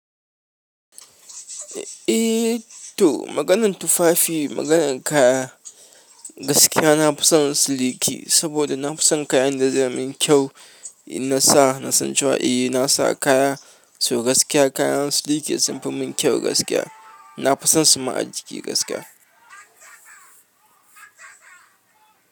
Eh to maganan tufafi maganan kaya gaskiya na nafison son siliki saboda na fi son kayan da zai min kyau. In nasa nasan cewa nasa kaya so gaskiya kayan siliki sunfimun keu na fi son su ma a jiki gaskiya.